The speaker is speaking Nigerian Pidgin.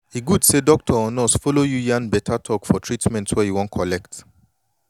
e good say doctor or nurse follow you yan beta talk for treatment wey you wan collect